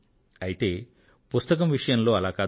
అయితే పుస్తకం విషయంలో అలా కాదు